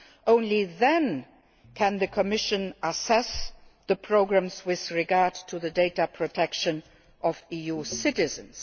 Only then can the Commission assess the programmes with regard to the data protection of EU citizens.